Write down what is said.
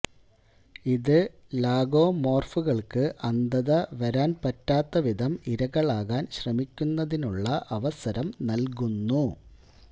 ഇത് ലാഗോമോർഫുകൾക്ക് അന്ധത വരാൻ പറ്റാത്തവിധം ഇരകളാകാൻ ശ്രമിക്കുന്നതിനുള്ള അവസരം നൽകുന്നു